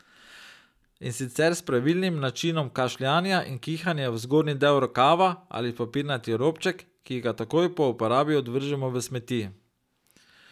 In sicer s pravilnim načinom kašljanja in kihanja v zgornji del rokava ali v papirnati robček, ki ga takoj po uporabi odvržemo v smeti.